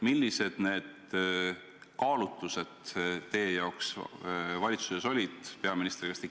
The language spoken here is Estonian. Millised need kaalutlused teie jaoks valitsuses olid, peaminister?